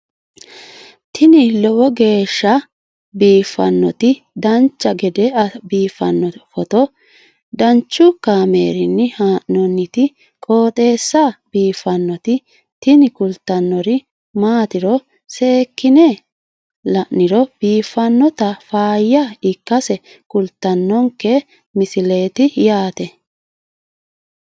tini lowo geeshsha biiffannoti dancha gede biiffanno footo danchu kaameerinni haa'noonniti qooxeessa biiffannoti tini kultannori maatiro seekkine la'niro biiffannota faayya ikkase kultannoke misileeti yaate